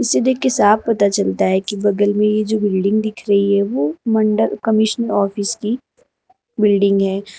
इसे देखकर साफ पता चलता है की बगल में यह जो बिल्डिंग दिख रही है वो मंडल कमिश्नर ऑफिस की बिल्डिंग है।